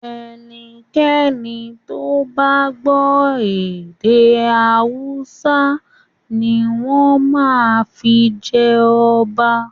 Ẹnikẹ́ni tó bá gbọ́ èdè Hausa ni wọ́n máa fi jẹ ọba.